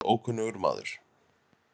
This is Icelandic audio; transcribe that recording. Hann var eins og ókunnugur maður.